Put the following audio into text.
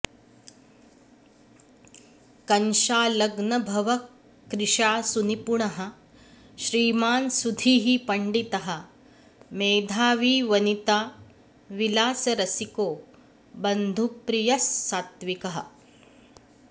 कन्शालग्नभवः क्रिशासुनिपुणः श्रीमान् सुधीः पण्डितः मेधावी वनिताविलासरसिको बन्धुप्रियः सात्त्विकः